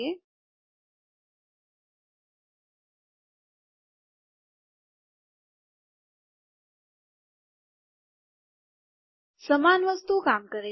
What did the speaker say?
ઠીક છે સમાન વસ્તુ કામ કરે છે